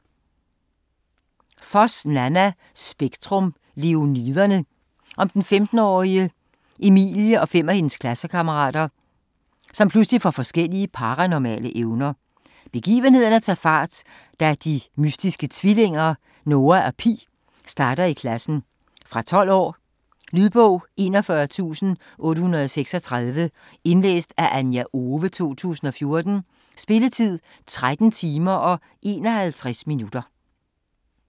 Foss, Nanna: Spektrum - Leoniderne Den 15-årige Emilie og fem af hendes klassekammerater får pludselig forskellige paranormale evner. Begivenhederne tager fart, da de mystiske tvillinger, Noah og Pi, starter i klassen. Fra 12 år. Lydbog 41836 Indlæst af Anja Owe, 2014. Spilletid: 13 timer, 51 minutter.